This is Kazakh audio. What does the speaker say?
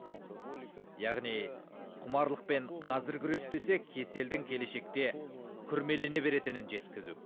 алкоголика яғни құмарлықпен қазір күреспесек кеселдің келешекте күрмелене беретінін жеткізу